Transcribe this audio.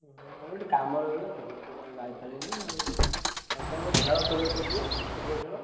ହୁଁ ମୋର ଗୋଟେ କାମ ରହିଗଲା ତ ସେଥିପାଇଁ ଆଉ ଯାଇପାରିଲିନି ଆଉ ଆଉ ତମେ ବା ଖେଳ କରିବ କହୁଥିଲ Cricket ଖେଳ?